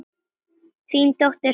Þín dóttir, Signý.